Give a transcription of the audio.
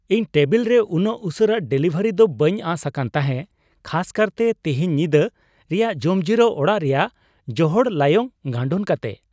ᱤᱧ ᱴᱮᱵᱤᱞ ᱨᱮ ᱩᱱᱟᱹᱜ ᱩᱥᱟᱹᱨᱟ ᱰᱮᱞᱤᱵᱷᱟᱨᱤ ᱫᱚ ᱵᱟᱹᱧ ᱟᱸᱥ ᱟᱠᱟᱱ ᱛᱟᱦᱮᱸ ᱠᱷᱟᱥ ᱠᱟᱨᱛᱮ ᱛᱤᱦᱮᱧ ᱧᱤᱫᱟᱹ ᱨᱮᱭᱟᱜ ᱡᱚᱢᱡᱤᱨᱟᱹᱣ ᱚᱲᱟᱜ ᱨᱮᱭᱟᱜ ᱡᱚᱦᱚᱲ ᱞᱟᱭᱚᱝ ᱜᱟᱱᱰᱳᱱ ᱠᱟᱛᱮ ᱾